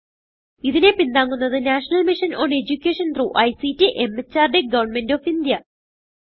ഇതിനെ പിന്താങ്ങുന്നത് national mission on education through ICT MHRD government of India